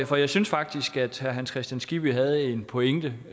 for jeg synes faktisk at herre hans kristian skibby havde en pointe